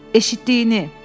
Eşitdiyini.